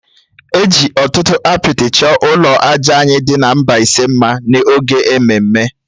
E ji ọtụtụ apịtị chọọ ụlọ àjà anyị dị na Mbaise mma n’oge ememme